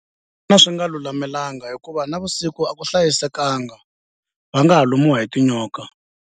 swi nga lulamelangi hikuva navusiku a ku hlayisekanga va nga ha lumiwa hi tinyoka.